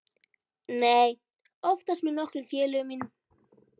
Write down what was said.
Nei, oftast með nokkrum félögum mínum.